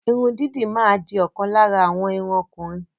Irun didi ma di okan lara awon irun okunrin